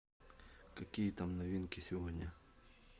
какие там новинки сегодня